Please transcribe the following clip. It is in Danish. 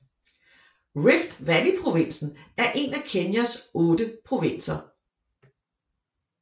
Rift Valleyprovinsen er en af Kenyas otte provinser